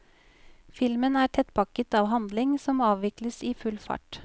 Filmen er tettpakket av handling som avvikles i full fart.